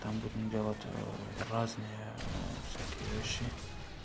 там будем делать ээ разные всякие вещи